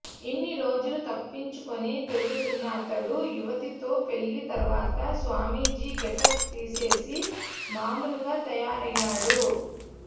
ఇన్ని రోజులు తప్పించుకుని తిరుగుతున్న అతడు యువతితో పెళ్లి తరువాత స్వామీజీ గెటప్ తీసేసి మామూలుగా తయారయ్యాడు